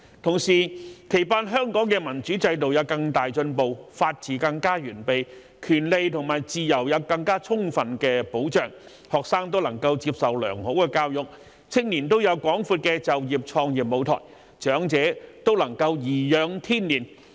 同時，期盼香港的民主制度有更大進步，法治更加完備，權利和自由有更充分的保障，學生均能接受良好的教育，青年均有廣闊的就業創業舞臺，長者均能頤養天年。